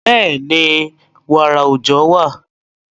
Bẹ́ẹ̀ni, wààrà òòjọ́ wà.